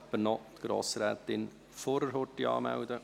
Kann jemand Grossrätin Furrer als Sprecherin anmelden?